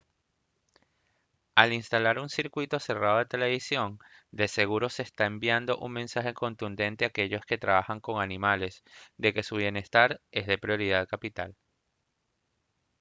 «al instalar un circuito cerrado de televisión de seguro se estará enviando un mensaje contundente a aquellos que trabajan con animales de que su bienestar es de prioridad capital»